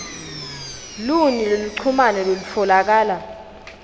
luni lweluchumano lolutfolakala